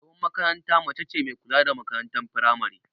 Shugabar makaranta mace ce me kula da makarantar firamari